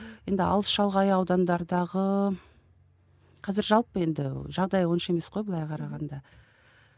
енді алыс шалғай аудандардағы қазір жалпы енді жағдай онша емес қой былай қарағанда